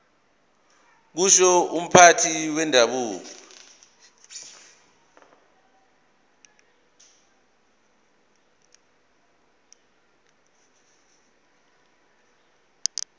kusho umphathi wendabuko